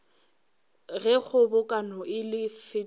ge kgobokano e ka fetiša